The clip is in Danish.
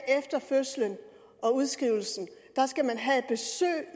efter fødslen og udskrivelsen skal have besøg